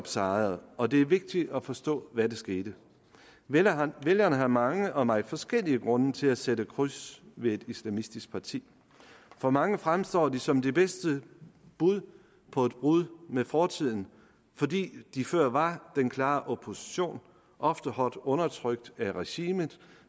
sejret og det er vigtigt at forstå hvad der skete vælgerne vælgerne har mange og meget forskellige grunde til at sætte kryds ved et islamistisk parti for mange fremstår de som det bedste bud på et brud med fortiden fordi de før var den klare opposition ofte hårdt undertrykt af regimet